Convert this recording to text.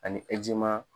Ani